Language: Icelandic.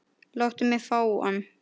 Láttu mig fá hann.